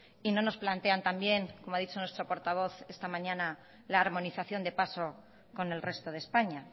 y no nos plantean también como ha dicho nuestro portavoz esta mañana la armonización de paso con el resto de españa